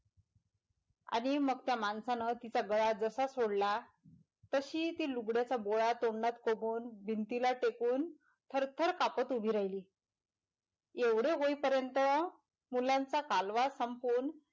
आणि मग त्या माणसं तिचा गळा जसा सोडला तशी ती लुगड्याचा गोळा तोंडात कोंबून भिंतीला टेकून थरथर कापत उभी राहिली एवढे होईपर्यँत मुलांचा कालवा संपूण,